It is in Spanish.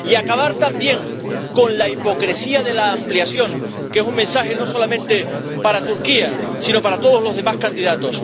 Y acabar, también, con la hipocresía de la ampliación, que es un mensaje no solamente para Turquía, sino para todos los demás candidatos.